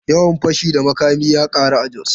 Yawan fashi da makami ya karu a Jos.